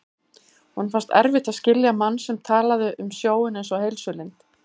Honum fannst erfitt að skilja mann sem talaði um sjóinn einsog heilsulind.